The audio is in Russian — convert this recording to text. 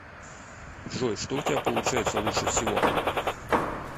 джой что у тебя получается лучше всего